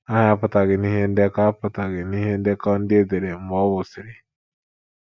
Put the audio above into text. Aha ya apụtaghị n’ihe ndekọ apụtaghị n’ihe ndekọ ndị e dere mgbe ọ nwụsịrị. ”